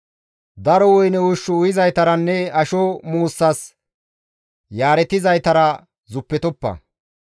Daro woyne ushshu uyizaytaranne asho muussas yaaretizaytara zuppetoppa.